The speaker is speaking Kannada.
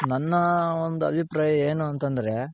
ನನ್ನ ಒಂದು ಅಭಿಪ್ರಾಯ ಏನು ಅಂತಂದ್ರೆ